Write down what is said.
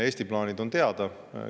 Eesti plaanid on teada.